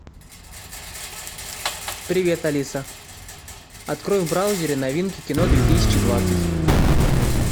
привет алиса открой в браузере новинки кино две тысячи двадцать